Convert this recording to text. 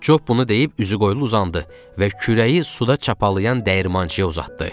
Job bunu deyib üzüqoylu uzandı və kürəyi suda çapalanan dəyirmançıya uzatdı.